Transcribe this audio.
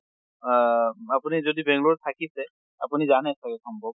অহ আপুনি যদি বেংলৰত থাকিছে, আপুনি জানে চাগে সম্ভৱ।